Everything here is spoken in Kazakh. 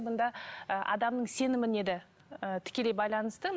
мұнда ы адамның сеніміне де ы тікелей байланысты